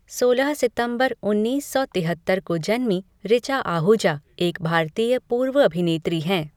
सोलह सितंबर उन्नीस सौ तिहत्तर को जन्मीं ऋचा आहूजा एक भारतीय पूर्व अभिनेत्री हैं।